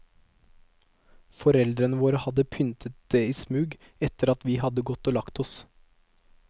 Foreldrene våre hadde pyntet det i smug etter at vi hadde gått og lagt oss.